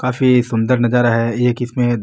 काफी सुन्दर नजारा है एक इसमें --